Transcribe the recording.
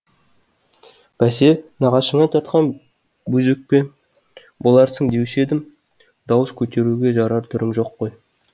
бәсе нағашыңа тартқан бөз өкпе боларсың деуші едім дауыс көтеруге жарар түрің жоқ қой